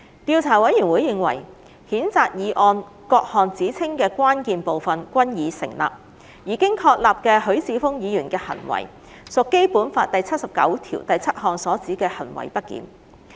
調查委員會認為，譴責議案各項指稱的關鍵部分均已成立，而經確立的許智峯議員的行為，屬《基本法》第七十九條第七項所指的行為不檢。